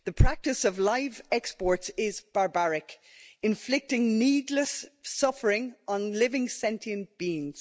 The practice of live exports is barbaric, inflicting needless suffering on living sentient beings.